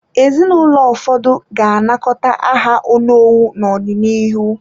Ezinụlọ ụfọdụ ga-anakọta aha onowu n’ọdịnihu.